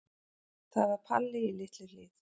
Það var Palli í Litlu-Hlíð.